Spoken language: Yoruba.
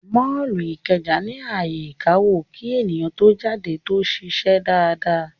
Mọ́ọ̀lù Ìkẹjà ní ààyè ìkawó kí èèyàn tó jáde tó ṣiṣẹ́ dáadáa